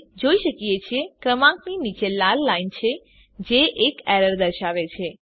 આપણે જોઈ શકીએ છીએ ક્રમાંકની નીચે લાલ લાઈન છે જે એક એરર દર્શાવે છે